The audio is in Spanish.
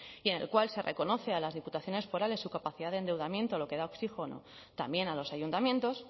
y en el cual se reconoce a las diputaciones forales su capacidad de endeudamiento lo que da oxígeno también a los ayuntamientos